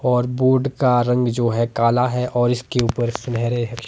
और बोर्ड का रंग जो है काला है और इसके ऊपर सुनहरे--